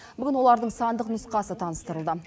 бүгін олардың сандық нұсқасы таныстырылды